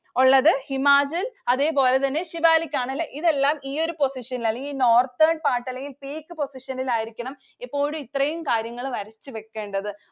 ഒള്ളത്. ഹിമാചല്‍ അതേപോലെ തന്നെ സിവാലിക് ആണ് അല്ലേ? ഇതെല്ലാം ഈയൊരു position ഇല്‍ അല്ലെങ്കില് northern part അല്ലെങ്കില്‍ seek position ഇല്‍ ആയിരിക്കണം എപ്പോഴും ഇത്രയും കാര്യങ്ങള്‍ വരച്ചു വയ്കേണ്ടത്.